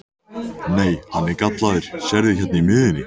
Nei, hann er gallaður, sérðu hérna í miðjunni.